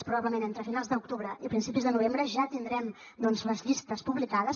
probablement entre finals d’octubre i principis de novembre ja tindrem doncs les llistes publicades